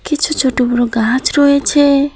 কিছু ছোট বড় গাছ রয়েছে।